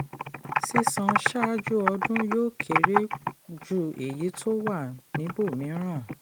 sísan ṣáájú ọdún yóò kéré ju èyí tó wà níbòmíran.